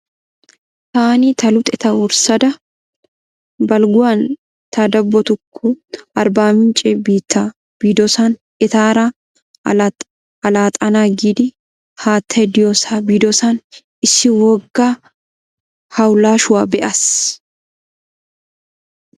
Taani ta luxettaa wurssada balgguwan ta dabbotukko arbaamincce biitta biidosan etaara alaxxana giidi haattay diyoosaa biidosan issi wogga hawlaashshuwaa be'as.